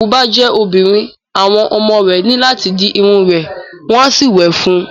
Tí òkú bá jẹ́ obìnrin, àwọn ọmọ rẹ ní láti di irun rẹ̀ wọ́n á sì wè fún un.